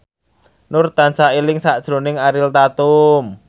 Nur tansah eling sakjroning Ariel Tatum